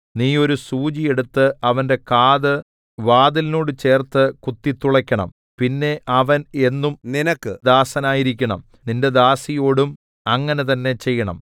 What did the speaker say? നീ ഒരു സൂചി എടുത്ത് അവന്റെ കാത് വാതിലിനോട് ചേർത്ത് കുത്തിത്തുളക്കേണം പിന്നെ അവൻ എന്നും നിനക്ക് ദാസനായിരിക്കണം നിന്റെ ദാസിയോടും അങ്ങനെ തന്നേ ചെയ്യണം